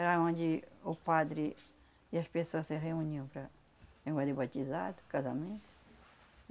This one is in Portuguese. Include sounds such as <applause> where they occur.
Era onde o padre e as pessoas se reuniam para <unintelligible> fazer batizado, casamento.